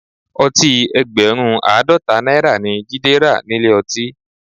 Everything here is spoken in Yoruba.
Ọtí ẹgbẹ̀rún Àádọ́ta náírà ni Jide rà nílé ọtí